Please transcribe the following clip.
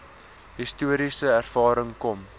historiese ervaring kom